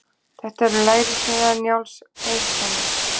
Þetta eru lærissneiðar Njáls Eiðssonar.